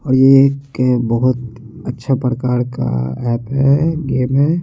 और ये एक बहोत अच्छा प्रकार का अप्प है गेम है।